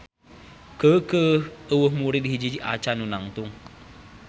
Keukeuh euweuh murid hiji-hiji acan nu nangtung.